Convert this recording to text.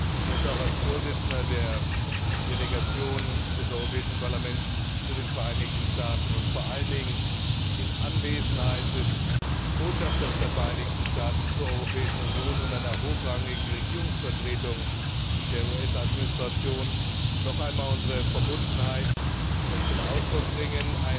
Ich möchte auch als Vorsitzender der Delegation des Europäischen Parlaments für die Beziehungen zu den Vereinigten Staaten und vor allen Dingen in Anwesenheit des Botschafters der Vereinigten Staaten bei der Europäischen Union und einer hochrangigen Regierungsvertretung der US Administration noch einmal unsere Verbundenheit zum Ausdruck bringen.